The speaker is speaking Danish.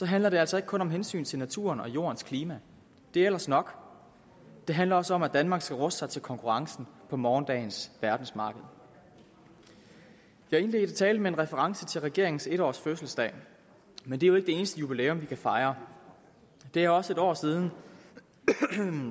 handler det altså ikke kun om hensynet til naturen og jordens klima det er ellers nok det handler også om at danmark skal ruste sig til konkurrencen på morgendagens verdensmarked jeg indledte talen med en reference til regeringens en års fødselsdag men det er jo ikke det eneste jubilæum vi kan fejre det er også en år siden